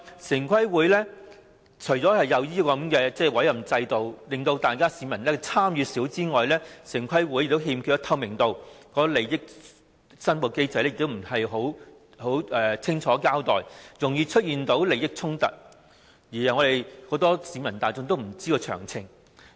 此外，除了設有委任制度，令市民參與度偏低外，城規會更欠缺透明度，利益申報機制也不完善，容易出現利益衝突，而很多市民也不知道詳情。